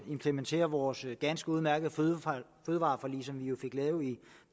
implementere vores ganske udmærkede fødevareforlig som vi jo fik lavet i